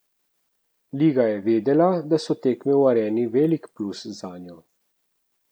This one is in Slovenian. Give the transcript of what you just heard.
Liga je vedela, da so tekme v Areni velik plus zanjo.